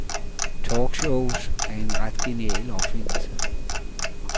Talkshows er en ret genial opfindelse.